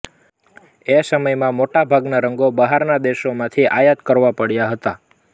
એ સમયમાં મોટા ભાગના રંગો બહારના દેશોમાંથી આયાત કરવા પડતા હતા